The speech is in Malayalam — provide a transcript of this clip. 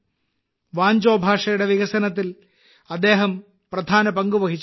വാഞ്ചോ ഭാഷയുടെ വികസനത്തിൽ അദ്ദേഹം ഒരു പ്രധാന പങ്കുവഹിച്ചിട്ടുണ്ട്